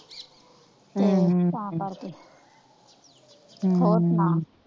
ਹਮ ਹਮ ਤਾ ਕਰਕੇ ਹਮ ਹੋਰ ਸੁਨਾ,